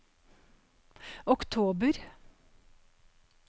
oktober